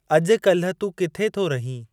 अॼु काल्हि तूं किथे थो रहीं ?